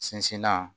Sinsinna